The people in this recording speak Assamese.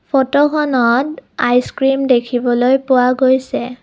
ফটোখনত আইচ ক্ৰীম দেখিবলৈ পোৱা গৈছে।